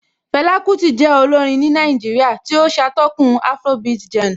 Fela Kuti jẹ́ olórin ní Nàìjíríà tí ó ṣatọ́kùn afrobeat genre